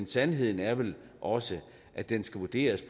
sandheden er vel også at den skal vurderes